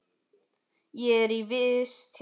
Ég er í vist hérna.